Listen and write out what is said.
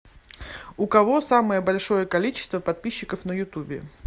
у кого самое большое количество подписчиков на ютубе